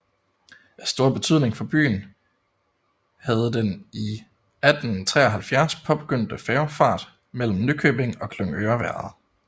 Af stor betydning for byen havdeden i 1873 påbegyndte færgefart mellem Nykøbing og Glyngøre været